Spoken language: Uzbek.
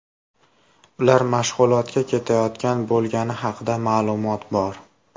Ular mashg‘ulotga ketayotgan bo‘lgani haqida ma’lumot bor.